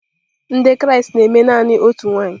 Ndị Kraịst na-eme naanị otu nwanyị.